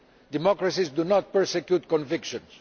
Democracies do not persecute convictions.